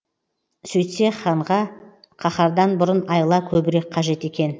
сөйтсе ханға қаһардан бұрын айла көбірек қажет екен